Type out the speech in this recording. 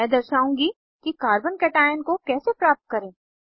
मैं दर्शाउंगी कि carbo केशन को कैसे प्राप्त करें